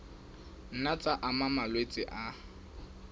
nna tsa ama malwetse a